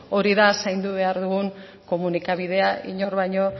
hori da zaindu behar dugun komunikabidea inor baino